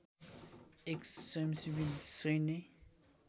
एक स्वयंसेवी सैन्य